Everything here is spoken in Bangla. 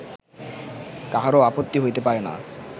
কাহারও আপত্তি হইতে পারে না